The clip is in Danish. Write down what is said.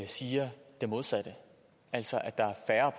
siger det modsatte altså at der er færre